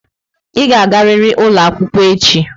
Ị ga-agariri ụlọ akwụkwọ echi!